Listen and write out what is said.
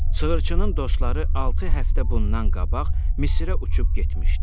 Sığırçının dostları altı həftə bundan qabaq Misirə uçub getmişdilər.